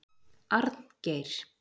Arngeir